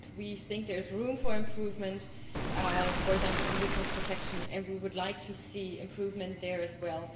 We feel there is room for improvement, for example on witness protection, and we would like to see improvement there as well.